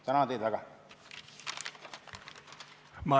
Tänan teid väga!